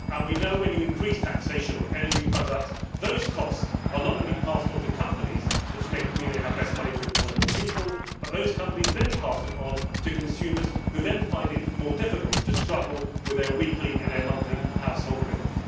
We know that when you increase taxation on energy products, those costs are not only passed on to companies which means they have less money to employ more people but those companies then pass it on to consumers, who then find it more difficult to struggle with their weekly and monthly household bills.